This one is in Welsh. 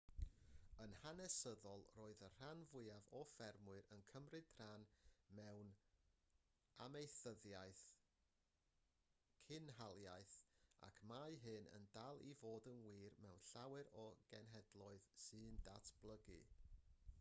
yn hanesyddol roedd y rhan fwyaf o ffermwyr yn cymryd rhan mewn amaethyddiaeth cynhaliaeth ac mae hyn yn dal i fod yn wir mewn llawer o genhedloedd sy'n datblygu